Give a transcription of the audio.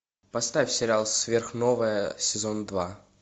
поставь сериал сверхновая сезон два